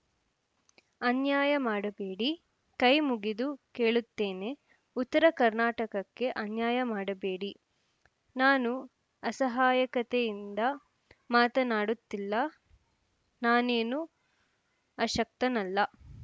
ಅನ್ಯಾಯ ಮಾಡಬೇಡಿ ಕೈಮುಗಿದು ಕೇಳುತ್ತೇನೆ ಉತ್ತರ ಕರ್ನಾಟಕಕ್ಕೆ ಅನ್ಯಾಯ ಮಾಡಬೇಡಿ ನಾನು ಅಸಹಾಯಕತೆಯಿಂದ ಮಾತನಾಡುತ್ತಿಲ್ಲ ನಾನೇನು ಅಶಕ್ತನಲ್ಲ